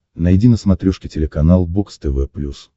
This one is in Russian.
найди на смотрешке телеканал бокс тв плюс